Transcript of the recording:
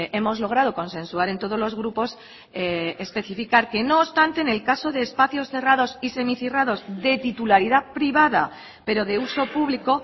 hemos logrado consensuar en todos los grupos especificar que no obstante en el caso de espacios cerrados y semicerrados de titularidad privada pero de uso público